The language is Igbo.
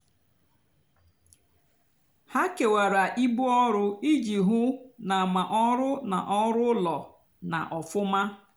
hà kewara íbú ọrụ íjì hú ná mà ọrụ nà ọrụ úló nà-ófúmá.